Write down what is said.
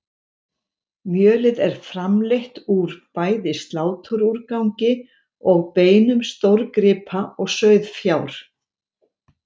Mjölið er framleitt úr bæði sláturúrgangi og beinum stórgripa og sauðfjár.